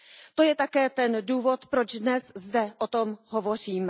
To je také ten důvod, proč dnes zde o tom hovoříme.